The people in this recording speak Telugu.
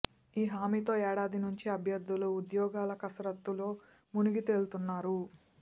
ఈ హామీతో ఏడాది నుంచి అభ్యర్థులు ఉద్యోగాల కసరత్తులో మునిగి తేలుతున్నారు